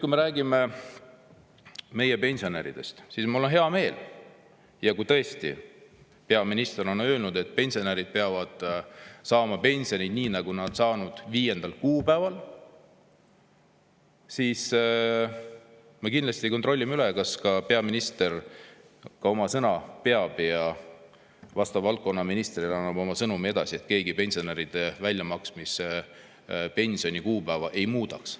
Kui me räägime meie pensionäridest, siis mul on hea meel, et kui tõesti peaminister on öelnud, et pensionärid peavad saama pensioni, nii nagu nad on seni saanud, 5. kuupäeval, siis me kindlasti kontrollime üle, kas peaminister ka oma sõna peab ja annab vastava valdkonna ministrile edasi oma sõnumi, et keegi pensionäridele pensioni väljamaksmise kuupäeva ei muudaks.